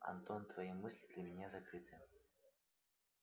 антон твои мысли для меня закрыты